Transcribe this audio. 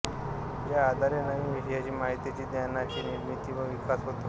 ज्याआधारे नवीन विषयाची माहितीची ज्ञानाची निर्मिती व विकास होतो